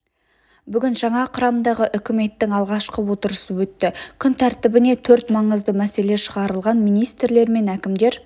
бүгін жаңа құрамдағы үкіметтің алғашқы отырысы өтті күн тәртібіне төрт маңызды мәселе шығарылды министрлер мен әкімдер